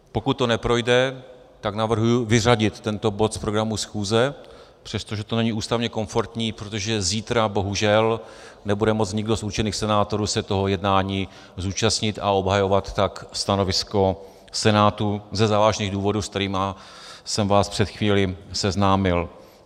Pokud to neprojde, tak navrhuji vyřadit tento bod z programu schůze, přestože to není ústavně komfortní, protože zítra bohužel nebude moct nikdo z určených senátorů se toho jednání zúčastnit a obhajovat tak stanovisko Senátu ze závažných důvodů, se kterými jsem vás před chvíli seznámil.